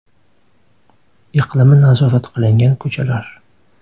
Iqlimi nazorat qilingan ko‘chalar.